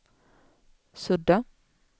sudda